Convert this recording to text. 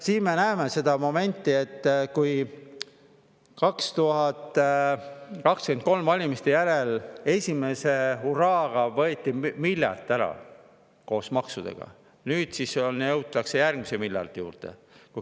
… siin me näeme seda momenti, et kui 2023. aasta valimiste järel esimese hurraaga võeti miljard koos maksudega ära, siis nüüd jõutakse järgmise miljardi juurde.